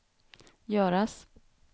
göras